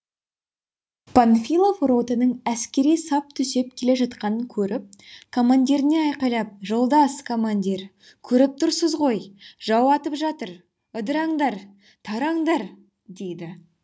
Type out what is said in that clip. панфилов ротаның әскери сап түзеп келе жатқанын көріп командиріне айқайлап жолдас командир көріп тұрсыз ғой жау атып жатыр ыдыраңдар тараңдар дейді